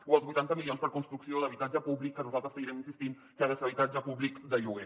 o els vuitanta milions per a construcció d’habitatge públic que nosaltres seguirem insistint que ha de ser habitatge públic de lloguer